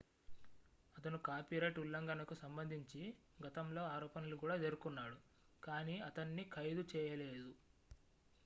అతను కాపీరైట్ ఉల్లంఘనకు సంబంధించి గతంలో ఆరోపణలు కూడా ఎదుర్కొన్నాడు కానీ అతన్ని ఖైదు చేయలేదు